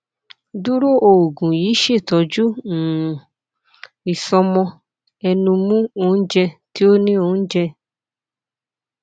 duro oogun yii ṣetọju um isọmọ ẹnu mu ounjẹ ti o ni ounjẹ